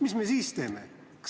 Mida me siis teeme?